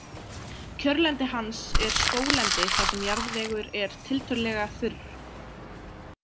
Kjörlendi hans er skóglendi þar sem jarðvegur er tiltölulega þurr.